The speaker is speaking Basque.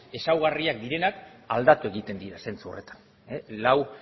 ezaugarriak direnak aldatu egiten dira zentzu horretan lau